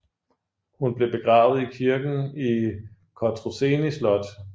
Hun blev begravet i kirken i Cotroceni Slot